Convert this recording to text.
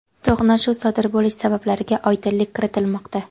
to‘qnashuv sodir bo‘lish sabablariga oydinlik kiritilmoqda.